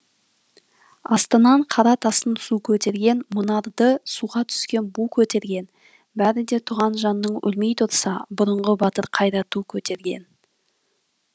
астынан қара тастың су көтерген мұнарды суға түскен бу көтерген бәрі де туған жанның өлмей тұрса бұрынғы батыр қайда ту көтерген